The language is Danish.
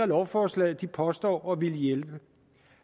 lovforslaget påstår at ville hjælpe